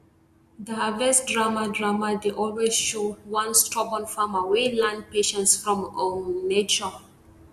the harvest drama drama dey always show one stubborn farmer wey learn patience from um nature